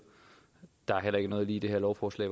der er heller ikke lige noget i det her lovforslag